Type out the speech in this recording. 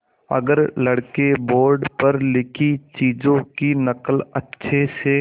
अगर लड़के बोर्ड पर लिखी चीज़ों की नकल अच्छे से